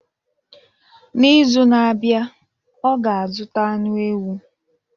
N'izu na-abịa, ọ ga-azụta anụ ewu